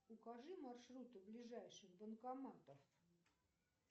укажи маршруты ближайших банкоматов